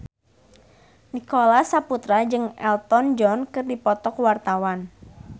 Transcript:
Nicholas Saputra jeung Elton John keur dipoto ku wartawan